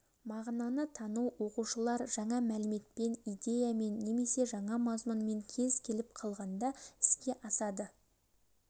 мағынаны тану оқушылар жаңа мәліметпен идеямен немесе жаңа мазмұнмен кез-келіп қалғанда іске асады